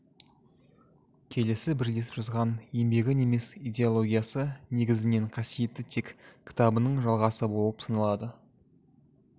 келесі бірлесіп жазған еңбегі неміс идеологиясы негізінен қасиетті тек кітабының жалғасы болып саналады